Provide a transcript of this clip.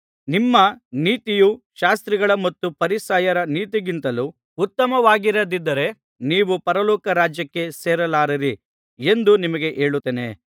ನಿಮ್ಮ ನೀತಿಯು ಶಾಸ್ತ್ರಿಗಳ ಮತ್ತು ಫರಿಸಾಯರ ನೀತಿಗಿಂತಲೂ ಉತ್ತಮವಾಗಿರದಿದ್ದರೆ ನೀವು ಪರಲೋಕ ರಾಜ್ಯಕ್ಕೆ ಸೇರಲಾರಿರಿ ಎಂದು ನಿಮಗೆ ಹೇಳುತ್ತೇನೆ